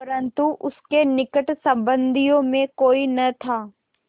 परन्तु उसके निकट संबंधियों में कोई न था